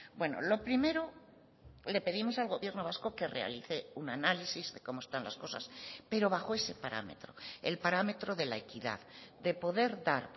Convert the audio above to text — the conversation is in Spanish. bueno lo primero le pedimos al gobierno vasco que realice un análisis de cómo están las cosas pero bajo ese parámetro el parámetro de la equidad de poder dar